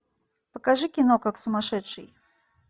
покажи кино как сумасшедший